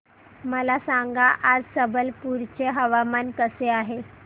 मला सांगा आज संबलपुर चे हवामान कसे आहे